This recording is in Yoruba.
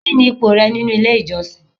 Kini ipò rẹ nínú ilé ìjọsìn?